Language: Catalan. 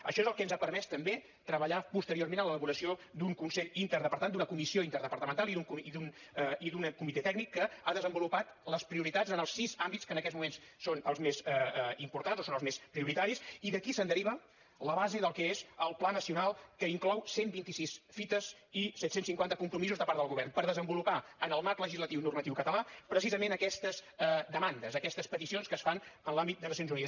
això és el que ens ha permès també treballar posteriorment en l’elaboració d’un consell interdepartamental d’una comissió interdepartamental i d’un comitè tècnic que ha desenvolupat les prioritats en els sis àmbits que en aquests moments són els més importants o són els més prioritaris i d’aquí se’n deriva la base del que és el pla nacional que inclou cent i vint sis fites i set cents i cinquanta compromisos de part del govern per desenvolupar en el marc legislatiu normatiu català precisament aquestes demandes aquestes peticions que es fan en l’àmbit de nacions unides